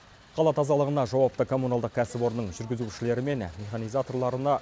қала тазалығына жауапты коммуналдық кәсіпорынның жүргізушілері мен механизаторларына